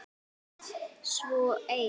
Svo ein.